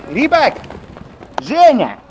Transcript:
ебать женя